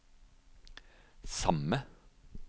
samme